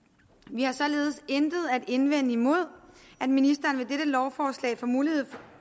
vi har således intet at indvende imod at ministeren ved dette lovforslag får mulighed